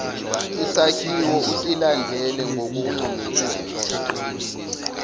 isakhiwo usilandele ngokuncomekayo